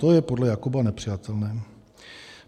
To je podle Jakoba nepřijatelné.